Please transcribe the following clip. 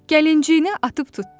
Gəlinciyini atıb tutdu.